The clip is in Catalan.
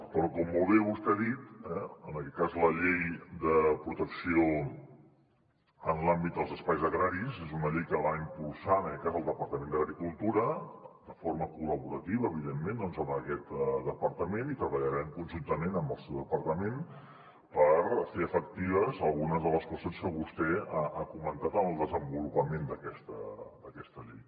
però com molt bé vostè ha dit en aquest cas la llei de protecció en l’àmbit dels espais agraris és una llei que va impulsar en aquest cas el departament d’agricultura de forma col·laborativa evidentment amb aquest departament i treballarem conjuntament amb el seu departament per fer efectives algunes de les qüestions que vostè ha comentat en el desenvolupament d’aquesta llei